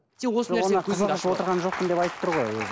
сен осы нәрсені деп айтып тұр ғой өзі